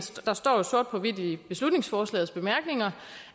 der står jo sort på hvidt i beslutningsforslagets bemærkninger